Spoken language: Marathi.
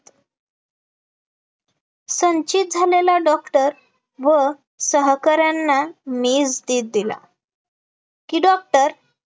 संचित झालेला डॉक्टर व सहकार्यांना मीच धीर दिला की डॉक्टर